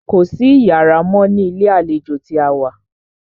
Kò sí iyàrá mọ́ ní ilé àlejò tí a wá.